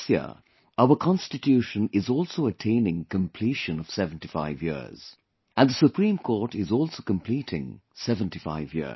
This year our Constitution is also attaining completion of 75 years... and the Supreme Court is also completing 75 years